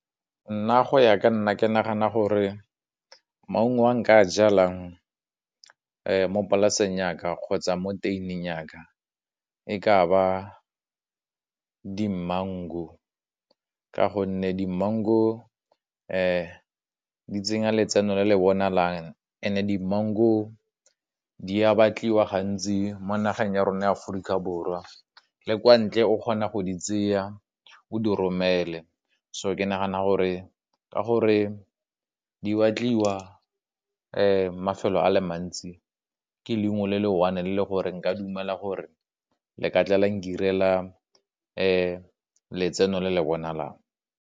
Nna go ya ka nna ke nagana gore maungo wa nka jalang mo polaseng yaka kgotsa mo yaka, e ka ba di mango ka gonne di mango di tsenya letseno le le bonalang, and di mango di a batliwa gantsi mo nageng ya rona ya Aforika Borwa, le kwa ntle o kgona go di tseya o di romele, so ke nagana gore ka gore di batliwa mafelo a le mantsi ke leungo le le one le le gore nka dumela gore le ka tla la nkirela letseno le le bonalang.